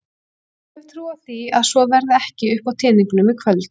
En ég hef trú á því að svo verði ekki uppá teningnum í kvöld.